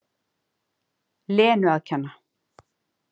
Lenu að kenna.